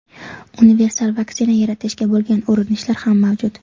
Universal vaksina yaratishga bo‘lgan urinishlar ham mavjud.